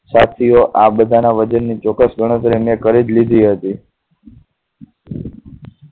સાથીઓ આ બધાં ના વજન ચોક્કસ ગણતરી મેં કરી જ લીધી હતી.